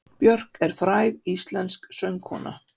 Björk er fræg íslensk söngkona.